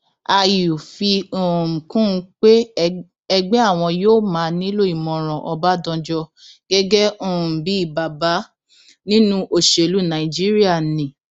àyù fi um kún un pé ẹgbẹ àwọn yóò máa nílò ìmọràn ọbadànjọ gẹgẹ um bíi bàbá nínú òṣèlú nàìjíríà ni